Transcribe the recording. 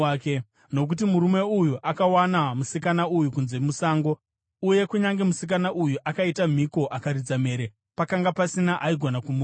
Nokuti murume uyu akawana musikana uyu kunze musango, uye kunyange musikana uyu akaita mhiko akaridza mhere, pakanga pasina aigona kumununura.